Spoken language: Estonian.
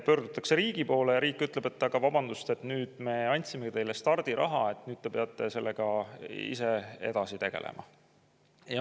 Pöördutakse riigi poole ja riik ütleb, et aga vabandust, me andsime teile stardiraha, nüüd te peate sellega ise edasi tegelema.